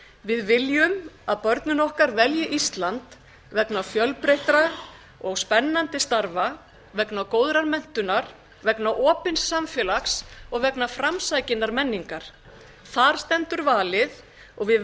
við viljum að börnin okkar velji ísland vegna fjölbreyttra og spennandi starfa vegna góðrar menntunar vegna opins samfélags og vegna framsækinnar menningar þar stendur valið við